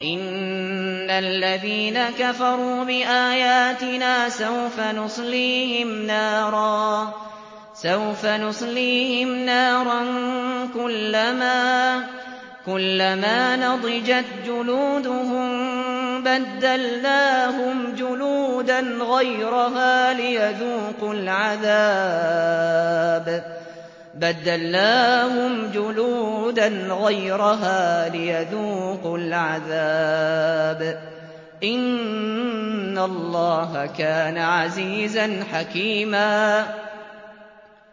إِنَّ الَّذِينَ كَفَرُوا بِآيَاتِنَا سَوْفَ نُصْلِيهِمْ نَارًا كُلَّمَا نَضِجَتْ جُلُودُهُم بَدَّلْنَاهُمْ جُلُودًا غَيْرَهَا لِيَذُوقُوا الْعَذَابَ ۗ إِنَّ اللَّهَ كَانَ عَزِيزًا حَكِيمًا